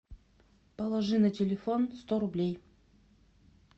положи на телефон сто рублей